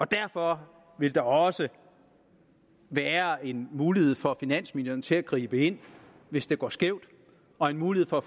derfor vil der også være en mulighed for finansministeren til at gribe ind hvis det går skævt og en mulighed for